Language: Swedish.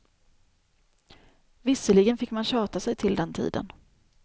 Visserligen fick man tjata sig till den tiden.